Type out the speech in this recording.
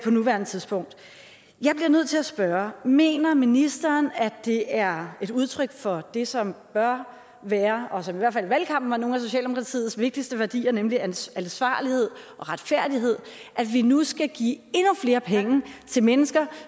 nuværende tidspunkt jeg bliver nødt til at spørge mener ministeren at det er et udtryk for det som bør være og som i hvert fald i valgkampen var nogle af socialdemokratiets vigtigste værdier nemlig ansvarlighed og retfærdighed at vi nu skal give endnu flere penge til mennesker